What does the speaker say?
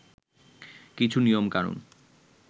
কিছু নিয়মকানুন